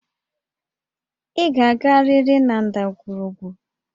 Ị ga-agarịrị na ndagwurugwu!